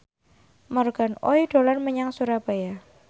Morgan Oey dolan menyang Surabaya